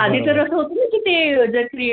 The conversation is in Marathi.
आणि तरच होती तेजश्री